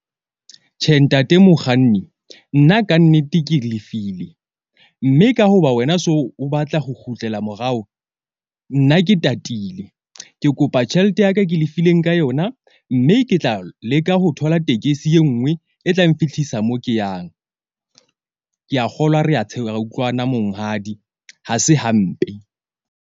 Tjhe, ntate mokganni nna kannete, ke lefile mme ka hoba wena so o batla ho kgutlela morao. Nna ke tatile. Ke kopa tjhelete ya ka ke lefileng ka yona. Mme ke tla leka ho thola tekesi e nngwe e tlang nfihlisa mo ke yang. Ke a kgolwa re ra utlwana monghadi, ha se hampe.